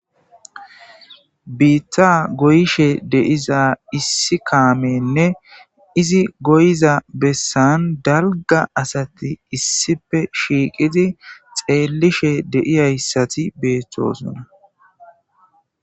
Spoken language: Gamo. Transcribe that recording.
Biitta goyishe deiza issi kaamenne izi goyiza bessan dalga asati issife shiiqidi xeellishe deiyayssati beettosona.